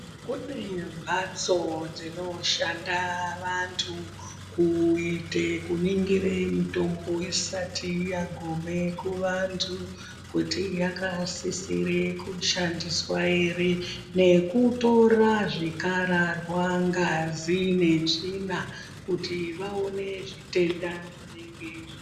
Kune mbatso dzinoshanda vantu kuite kuningire mitombo isati yagume kuvantu kuti yakasisire kushandiswa ere nekutora zvikararwa, ngazi netsvina kuti vaone zvitenda zvinenge...